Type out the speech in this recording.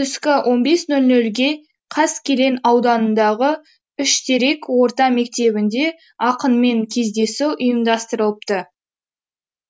түскі он бес нөл нөлге қаскелең ауданындағы үштерек орта мектебінде ақынмен кездесу ұйымдастырылыпты